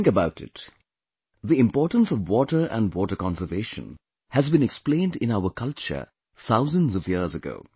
Think about it...the importance of water and water conservation has been explained in our culture thousands of years ago